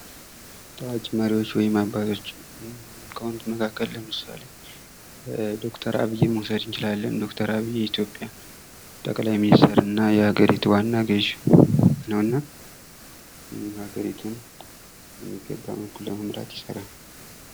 ታዋቂ መሪዎች ወይም አባቶች ከሆኑት መካከል ለምሳሌ ዶክተር አብይን መውሰድ እንችላለን። ዶክተር አብይ የኢትዮጵያ ጠቅላይ ሚኒስትር እና የሀገሪቱ ዋና ገዥ ነውና፤ ይህም ሀገሪቱን በሚገባ መልኩ ለመምራት ይሠራል።